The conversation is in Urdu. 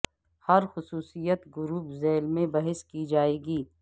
ہر خصوصیت گروپ ذیل میں بحث کی جائے گی